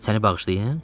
Səni bağışlayın?